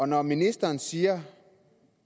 når ministeren siger